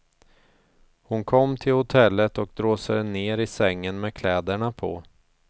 Hon kom till hotellet och dråsade ner i sängen med kläderna på.